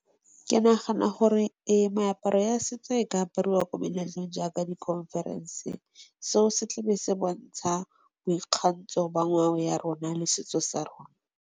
Ke nagana gore ee meaparo ya setso e ka aparwa ko meletlong jaaka di khonferense, seo se tla be se bontsha boikgantsho ba ya rona le setso sa rona.